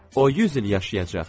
O 100 il yaşayacaq!